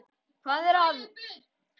Hvað er að, vinur minn?